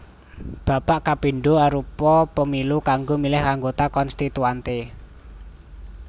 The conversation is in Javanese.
Babak kapindho arupa Pemilu kanggo milih anggota Konstituante